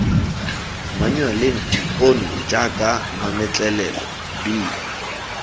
manyualeng ono jaaka mametlelelo b